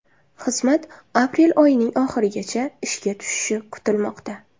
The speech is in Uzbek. Xizmat aprel oyining oxirigacha ishga tushishi kutilmoqda.